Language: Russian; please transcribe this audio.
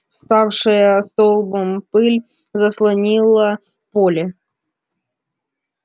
вставшая столбом пыль заслонила поле